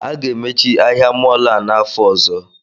A ga-emechi ahịa mọọlụ a n'afọ ọzọ